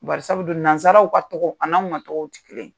Barisabu dun nanzaraw ka tɔgɔ ani an ka tɔgɔw ti kelen ye.